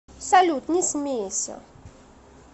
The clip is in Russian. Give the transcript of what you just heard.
салют не смейся